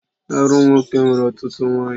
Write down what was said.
Arụ m nwoke nwere ọtụtụ nwaanyị